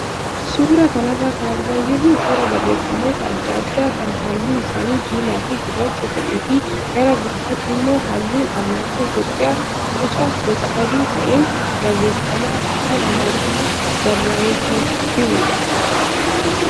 Suuraa kanarraa kan argaa jirru suuraa barreeffamoota adda addaa kan halluun isaanii diimaa fi gurraacha ta'ee fi gara gubbaatti immoo halluun alaabaa Itoophiyaa boca rog-sadee ta'een barreeffama afaan amaariffaan barraayee kan jirudha.